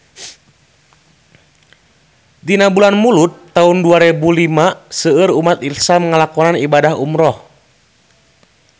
Dina bulan Mulud taun dua rebu lima seueur umat islam nu ngalakonan ibadah umrah